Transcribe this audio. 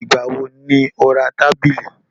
Ìgbà wo ni o ra tábìlì t?